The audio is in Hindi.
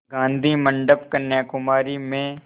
गाधी मंडपम् कन्याकुमारी में